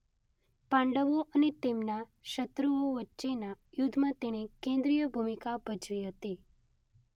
પાંડવો અને તેમના શત્રુઓ વચ્ચેના યુદ્ધમાં તેણે કેન્દ્રીય ભૂમિકા ભજવી હતી.